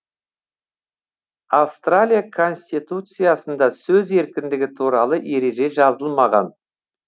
австралия конституциясында сөз еркіндігі туралы ереже жазылмаған